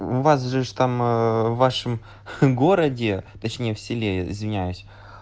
у вас же ж там ээ в вашем городе точнее в селе извиняюсь